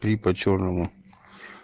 три по чёрному